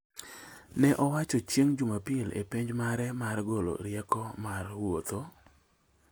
ne owacho chieng’ Jumapil e pej mare mar golo rieko mar wuotho